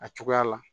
A cogoya la